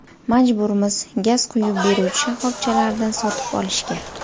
Majburmiz gaz quyib beruvchi shaxobchalaridan sotib olishga.